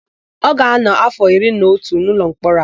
Ọ ga-ánọ̀ áfọ̀ iri na otu n'ụlọmkpọrọ a.